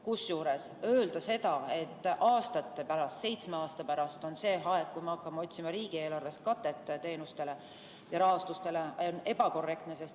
Kusjuures öelda seda, et aastate pärast, seitsme aasta pärast, on see aeg, kui me hakkame otsima riigieelarvest katet teenustele ja rahastustele, on ebakorrektne.